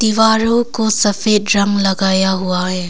दीवारों को सफेद रंग लगाया हुआ है।